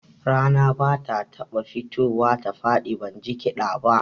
Rana ba ta taɓa fitowa ta faɗi ban ji kiɗa ba